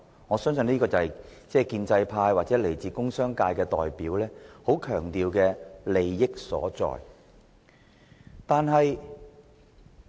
我相信，這便是建制派或工商界代表非常強調的所謂優勢。